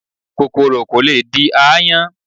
kòkòrò ko le di aáyán.